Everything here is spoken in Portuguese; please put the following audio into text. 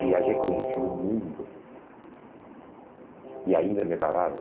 Viajei, conheci o mundo e ainda me pagavam.